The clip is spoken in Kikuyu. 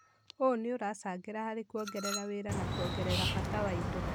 ũũ nĩ ũracangĩra harĩ kuongerera wira na kuongerera bata wa indo.